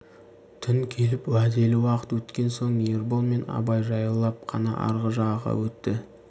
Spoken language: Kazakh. түн келіп уәделі уақыт өткен соң ербол мен абай жаяулап қана арғы жағаға өтті